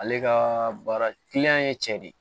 Ale ka baara ye cɛ de ye